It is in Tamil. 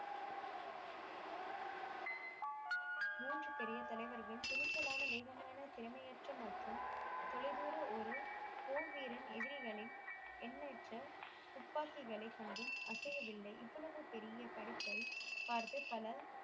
மூன்று பெரிய தலைவர்கள் துணிச்சலான மெகமான திறமையற்ற மற்றும் தொலை தூர ஒரு போர் வீரன் எதிரிகளின் எண்ணற்ற தூப்பாகிகளை கண்டும் அசைய வில்லை இவ்வளவு பெரிய படைப்பை பார்த்து பல